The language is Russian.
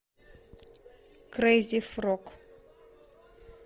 крейзи фрог